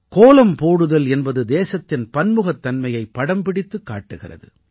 கோலம் போடுதல் என்பது தேசத்தின் பன்முகத்தன்மையைப் படம் பிடித்துக் காட்டுகிறது